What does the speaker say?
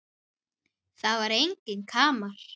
Það var enginn kamar.